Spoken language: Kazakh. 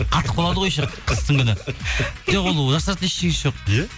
қатып қалады ғой еще қыстың күні жоқ ол жасыратын ештеңесі жоқ иә